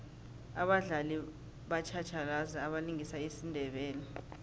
abadlali batjhatjhalazi abalingisa isindebele